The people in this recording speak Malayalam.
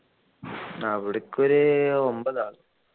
അവിടെക്കൊരു ഒമ്പതാളു